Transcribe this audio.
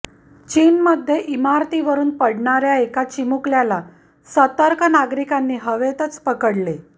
चीनमध्ये इमारतीवरून पडणाऱ्या एका चिमुकल्याला सतर्क नागरिकांनी हवेतच पकडले